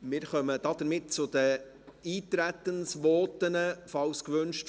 Wir kommen damit zu den Eintretensvoten der Fraktionen, falls gewünscht.